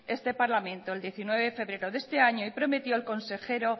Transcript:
este parlamento el diecinueve de febrero de este año y prometió el consejero